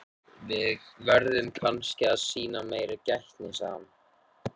Við verðum kannski að sýna meiri gætni sagði hann.